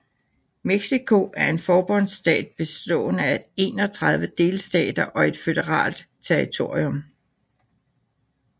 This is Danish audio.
Mexico er en forbundsstat bestående af 31 delstater og et føderalt territorium